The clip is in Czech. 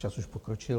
Čas už pokročil.